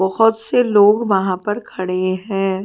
बोहोत से लोग वहा पर खड़े हुए हैं।